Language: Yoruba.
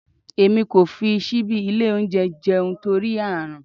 Èmi kò fi síbí ilé oúnjẹ jẹun torí Ààrùn.